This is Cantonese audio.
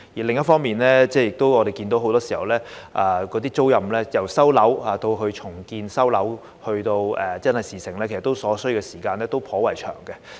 另一方面，我們亦看到很多時候，由收回該等租賃單位作重建，再到真的成事，所需時間其實頗長。